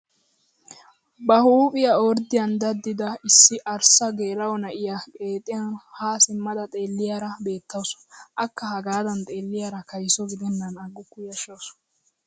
Ba huuphphiyaa orddiyaan daddida issi arssa geela'o na'iyaa qeexiyaan haa simmada xeelliyaara beettawus! akka hagaadan xeelliyaara kaysso gidennan agukku yashshawus!